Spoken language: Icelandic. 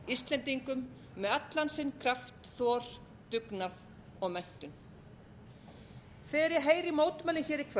íslendingum með allan sinn kraft þor dugnað og menntun þegar ég heyri mótmælin hér í